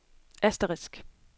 asterisk